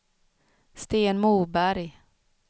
Sten Moberg